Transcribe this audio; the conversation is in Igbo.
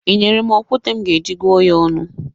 Ị nyere m okwute m ga-eji gụọ ya ọnụ?